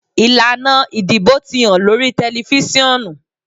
Ilana idibo ti han lori tẹlifisiọnu.